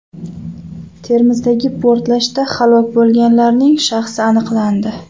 Termizdagi portlashda halok bo‘lganlarning shaxsi aniqlandi .